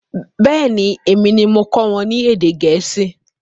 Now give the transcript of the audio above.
Bẹẹni, èmi ni mo kọ́ wọn ní èdè Gẹ̀ẹ́sì